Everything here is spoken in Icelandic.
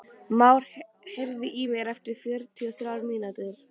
Már, heyrðu í mér eftir fjörutíu og þrjár mínútur.